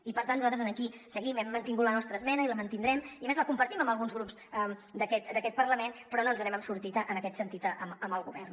i per tant nosaltres aquí hem mantingut la nostra esmena i la mantindrem i a més la compartim amb alguns grups d’aquest parlament però no ens n’hem sortit en aquest sentit amb el govern